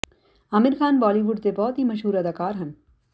Aamir Khan Bollywood ਦੇ ਬਹੁਤ ਹੀ ਮਸ਼ਹੂਰ ਅਦਾਕਾਰ ਹਨ